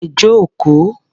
Ẹ jókòó.